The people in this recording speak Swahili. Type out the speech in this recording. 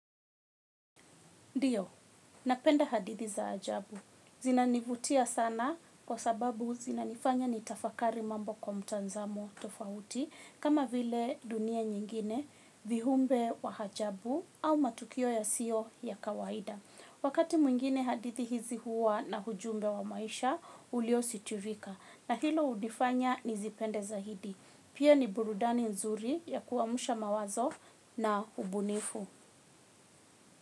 Ndiyo, napenda hadithi za ajabu. Zinanivutia sana kwa sababu zinanifanya nitafakari mambo kwa mtazamo tofauti, kama vile dunia nyingine, viumbe wa ajabu au matukio yasiyo ya kawaida. Wakati mwingine hadithi hizi huwa na ujumbe wa maisha uliositirika, na hilo hulifanya nizipende zaidi. Pia ni burudani nzuri ya kuamsha mawazo na ubunifu.